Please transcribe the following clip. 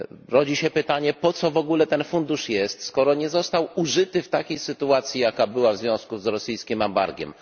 Rodzi się pytanie, po co w ogóle ten fundusz jest, skoro nie został użyty w takiej sytuacji, jaka zaistniała w związku z rosyjskim embargiem.